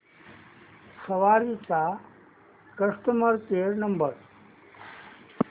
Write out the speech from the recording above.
सवारी चा customer care number